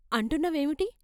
అంటున్న వేవిటి?